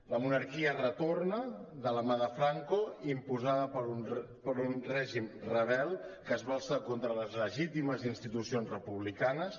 la monarquia retorna de la mà de franco imposada per un règim rebel que es va alçar contra les legítimes institucions republicanes